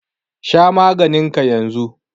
Sha maganin ka yanzu.